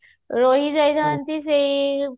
ଏଇ ରହିନାହାନ୍ତି ସେଇ